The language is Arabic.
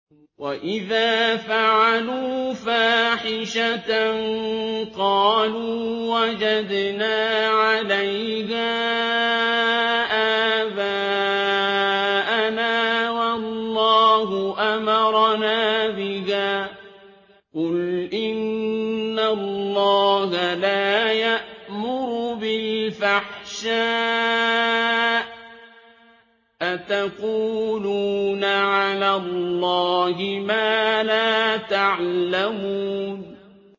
وَإِذَا فَعَلُوا فَاحِشَةً قَالُوا وَجَدْنَا عَلَيْهَا آبَاءَنَا وَاللَّهُ أَمَرَنَا بِهَا ۗ قُلْ إِنَّ اللَّهَ لَا يَأْمُرُ بِالْفَحْشَاءِ ۖ أَتَقُولُونَ عَلَى اللَّهِ مَا لَا تَعْلَمُونَ